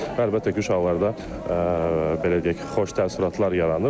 Və əlbəttə ki, uşaqlarda, belə deyək, xoş təəssüratlar yaranır.